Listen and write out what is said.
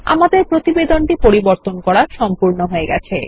আমাদের প্রতিবেদনটি পরিবর্তন করা সম্পূর্ণ হয়ে গেছে